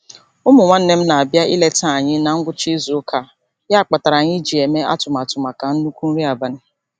Ụmụ nwanne m na-abịa ileta anyị na ngwụcha izuụka a ya kpatara anyị ji eme atụmatụ maka nnukwu nri abalị.